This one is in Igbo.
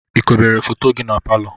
Ị kobere foto gị na palọ?